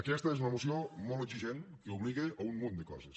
aquesta és una moció molt exigent que obliga a un munt de coses